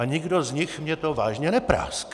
A nikdo z nich mi to vážně nepráskl!